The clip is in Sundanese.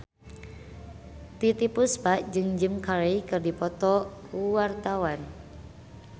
Titiek Puspa jeung Jim Carey keur dipoto ku wartawan